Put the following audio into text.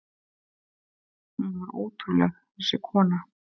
Hún var ótrúleg, þessi kona.